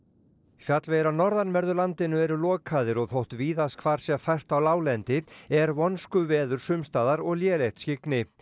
fjallvegir á norðanverðu landinu eru lokaðir og þótt víðast hvar sé fært á láglendi er vonskuveður sumstaðar og lélegt skyggni